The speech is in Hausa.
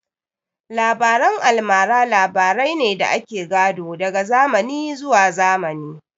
Labaren almara labarai ne da ake gado daga zamani zuwa zamani